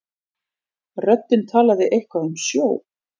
Röddin talaði eitthvað um sjó.